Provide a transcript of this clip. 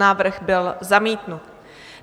Návrh byl zamítnut.